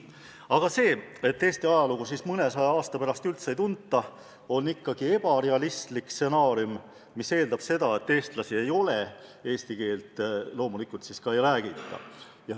Aga see, et mõnesaja aasta pärast Eesti ajalugu üldse ei tunta, on ikkagi ebarealistlik stsenaarium, mis eeldab seda, et eestlasi enam ei ole ja eesti keelt enam ei räägita.